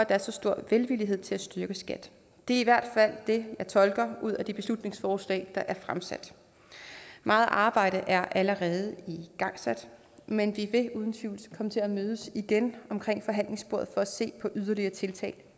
er så stor velvillighed til at styrke skat det er i hvert fald det jeg tolker ud af de beslutningsforslag der er fremsat meget arbejde er allerede igangsat men vi vil uden tvivl komme til at mødes igen omkring forhandlingsbordet for at se på yderligere tiltag